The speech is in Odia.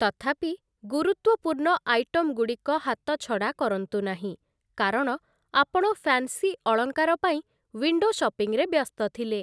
ତଥାପି, ଗୁରୁତ୍ୱପୂର୍ଣ୍ଣ ଆଇଟମ୍‌ଗୁଡ଼ିକ ହାତଛଡ଼ା କରନ୍ତୁ ନାହିଁ କାରଣ ଆପଣ ଫ୍ୟାନ୍ସି ଅଳଙ୍କାର ପାଇଁ ୱିଣ୍ଡୋ ଶପିଂରେ ବ୍ୟସ୍ତ ଥିଲେ ।